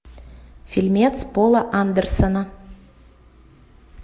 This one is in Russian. фильмец пола андерсона